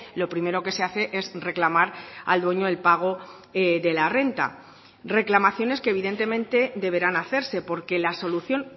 lo primero que se hace es reclamar al dueño el pago de la renta reclamaciones que evidentemente deberán hacerse porque la solución